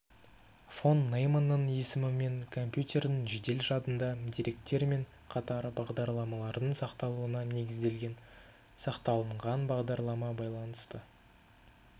фон нейманның есімімен компьютердің жедел жадында деректермен қатар бағдарламалардың сақталуына негізделген сақталынған бағдарлама байланысты